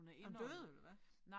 Er hun død eller hvad?